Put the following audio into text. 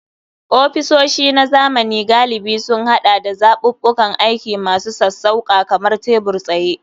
Ofisoshi na zamani galibi sun haɗa da zaɓuɓɓukan aiki masu sassauƙa kamar tebur-tsaye.